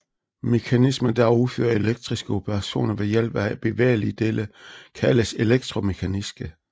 Mekanismer der udfører elektriske operationer ved hjælp af bevægelige dele kaldes elektromekaniske